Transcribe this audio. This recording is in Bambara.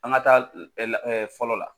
An ka taa fɔlɔ la